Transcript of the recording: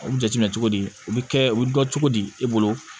O jateminɛ cogo di o bɛ kɛ o bɛ dɔn cogo di e bolo